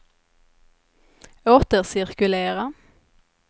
återcirkulera